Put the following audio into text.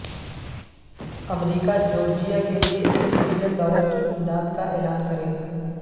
امریکہ Georgia کے لیے ایک بلین ڈالر کی امداد کا اعلان کرے گا